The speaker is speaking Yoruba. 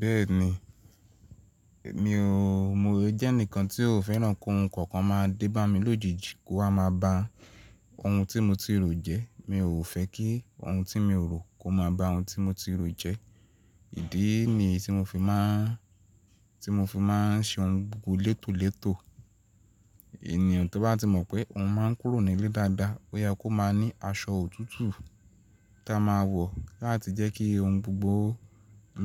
Bẹ́ẹ̀ni, mi o, mo jẹ́ ẹnìkan tí ò fẹ́ràn kí ohun kankan máa dé bá mi lójijì kó wa máa ba ohun tí mo ti rò jẹ́. Mi ò fẹ́ kí ohun tí mi o rò kó máa ba ohun tí mo ti rò jẹ́. Ìdí niyi tí mo fi máà, tí mo fi máa ń ṣe ohun gbogbo létòlétò. Ènìyàn tó bá ti mọ̀ pé òun máa ń kúrò nílé dáadáa pé ó máa ní aṣọ òtútù ta máa wọ̀ láti jẹ́ kí ohun gbogbo